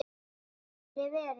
Takk fyrir verið